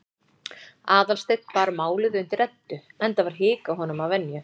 Aðalsteinn bar málið undir Eddu, enda var hik á honum að venju.